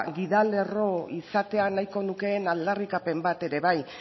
gidalerro izatea nahiko nukeen aldarrikapen bat ere bai